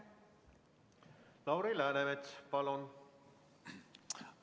Lauri Läänemets, palun!